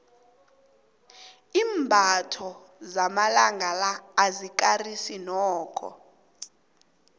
imbatho lamalanga la alikarisi nokho